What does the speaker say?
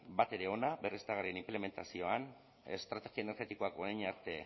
batere ona berriztagarrien inplementazioan estrategia energetikoak orain arte